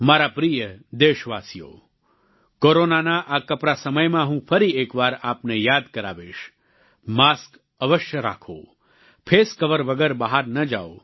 મારા પ્રિય દેશવાસીઓ કોરોનાના આ કપરા સમયમાં હું ફરી એકવાર આપને યાદ કરાવીશ માસ્ક અવશ્ય રાખો ફેસ કવર વગર બહાર ન જાઓ